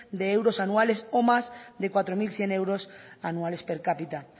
de euros anuales o más de cuatro mil cien euros anuales per cápita